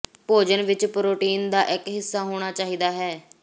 ਭੋਜਨ ਵਿੱਚ ਪ੍ਰੋਟੀਨ ਦਾ ਇੱਕ ਹਿੱਸਾ ਹੋਣਾ ਚਾਹੀਦਾ ਹੈ